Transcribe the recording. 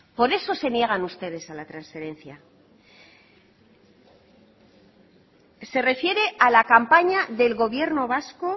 por eso se niegan ustedes a la transferencia se refiere a la campaña del gobierno vasco